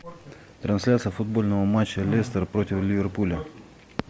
трансляция футбольного матча лестер против ливерпуля